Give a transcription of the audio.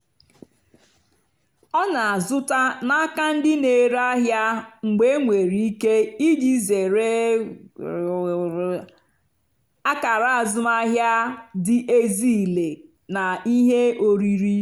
ọ́ nà-àzụ́tá n'ákà ndí nà-èrè àhịá mgbe énwèrè íké ìjì zèré àkàrà àzụ́mahìá dì ézílé nà íhé órírì.